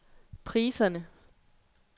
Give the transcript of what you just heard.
priserne